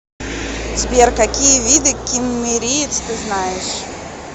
сбер какие виды киммериец ты знаешь